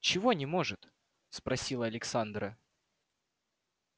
чего не может спросила александра